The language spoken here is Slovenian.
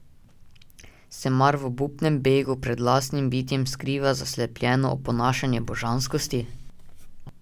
Se mar v obupnem begu pred lastnim bitjem skriva zaslepljeno oponašanje božanskosti?